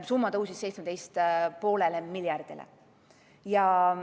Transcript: Summa tõusis 17,5 miljardini.